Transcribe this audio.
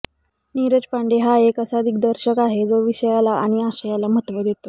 नीरज पांडे हा एक असा दिग्दर्शक आहे जो विषयाला आणि आशयाला महत्त्व देतो